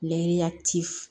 Lɛ t'i f